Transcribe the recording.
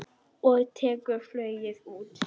Og tekur flugið út.